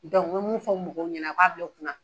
me min fɔ mɔgɔw ɲɛnɛ u k'a bila u kun na